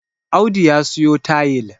Audu ya siyo tayil